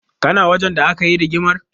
Kana wajen da aka yi rigimar?